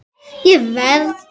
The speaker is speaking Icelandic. Ég verð.